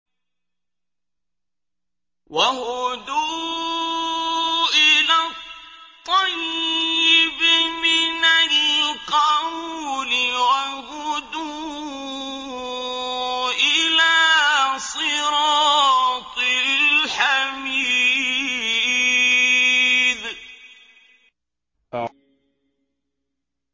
وَهُدُوا إِلَى الطَّيِّبِ مِنَ الْقَوْلِ وَهُدُوا إِلَىٰ صِرَاطِ الْحَمِيدِ